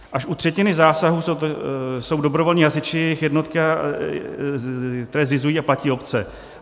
Až u třetiny zásahů jsou dobrovolní hasiči, jednotky, které zřizují a platí obce.